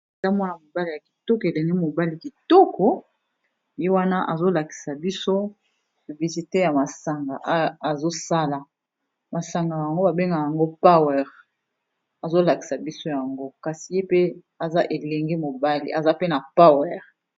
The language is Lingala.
Eza muana ya mobali ya kitoko, elenge mobali kitoko ye wana azo lakisa biso publicité ya masanga azo sala. masanga yango ba benga yango Power, azo lakisa biso yango kasi ye pe aza elenge mobali aza pe na Power.